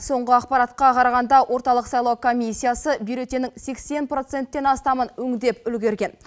соңғы ақпаратқа қарағанда орталық сайлау комиссиясы бюллетеннің сексен проценттен астамын өңдеп үлгерген